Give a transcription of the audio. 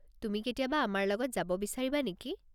তুমি কেতিয়াবা আমাৰ লগত যাব বিচাৰিবা নেকি?